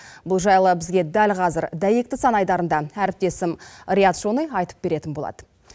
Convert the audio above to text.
бұл жайлы бізге дәл қазір дәйекті сан айдарында әріптесім риат шони айтып беретін болады